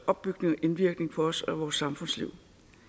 opbygning og indvirkning på os og vores samfundsliv